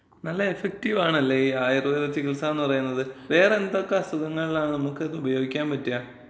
നല്ല എഫക്റ്റീവാണല്ലേ ഈ ആയുർവേദ ചികിത്സാന്ന് പറയുന്നത്. വേറെ എന്തൊക്കെ അസുഖങ്ങളിലാണ് നമ്മക്കത് ഉപയോഗിക്ക്യാൻ പറ്റാ?